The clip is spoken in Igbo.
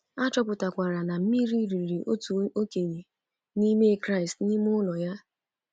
A chọpụtakwara na mmiri riri otu okenye n'ime Kraịst n’ime ụlọ ya.